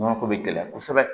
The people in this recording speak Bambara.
Nɔnɔ ko bɛ gɛlɛya kosɛbɛ